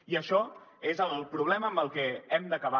i això és el problema amb el que hem d’acabar